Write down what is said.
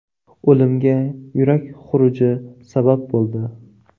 O‘limga yurak xuruji sabab bo‘ldi.